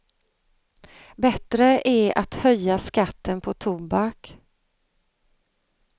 Bättre är att höja skatten på tobak.